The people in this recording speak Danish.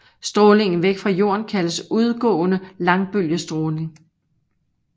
Strålingen væk fra jorden kaldes udgående langbølget stråling